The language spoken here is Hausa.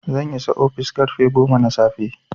zan isa ofis karfe goma na safe